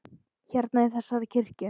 Hérna, í þessari kirkju?